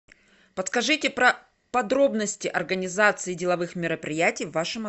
подскажите про подробности организации деловых мероприятий в вашем